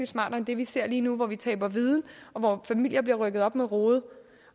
smartere end det vi ser lige nu hvor vi taber viden og hvor familier bliver rykket op med rode